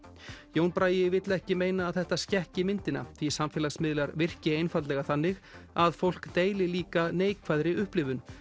Jón Bragi vill ekki meina að þetta skekki myndina því samfélagsmiðlar virki einfaldlega þannig að fólk deili líka neikvæðri upplifun